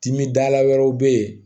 Dimidala wɛrɛw bɛ yen